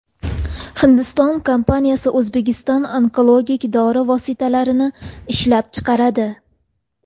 Hindiston kompaniyasi O‘zbekistonda onkologik dori vositalarini ishlab chiqaradi.